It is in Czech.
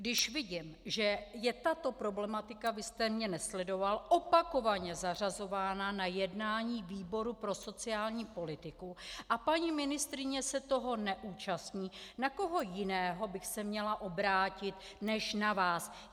Když vidím, že je tato problematika - vy jste mě nesledoval - opakovaně zařazována na jednání výboru pro sociální politiku a paní ministryně se toho neúčastní, na koho jiného bych se měla obrátit než na vás?